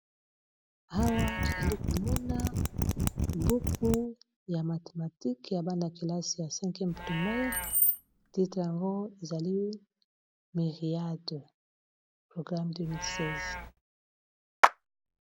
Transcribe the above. Awa tozali komona buku ya mathématique ya bana kelasi ya 5 pmie titre yango ezali miriate programe 2016.